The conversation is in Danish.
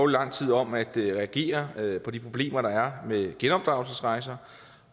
lang tid om at reagere på de problemer der er med genopdragelsesrejser